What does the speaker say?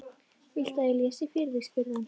Viltu að ég lesi fyrir þig? spurði hann.